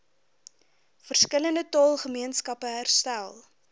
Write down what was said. verskillende taalgemeenskappe herstel